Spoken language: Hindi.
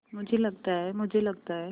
मुझे लगता है मुझे लगता है